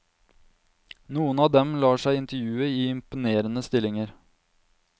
Noen av dem lar seg intervjue i imponerende stillinger.